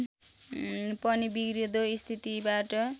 पनि बिग्रँदो स्थितिबाट